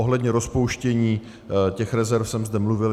Ohledně rozpouštění těch rezerv jsem zde mluvil.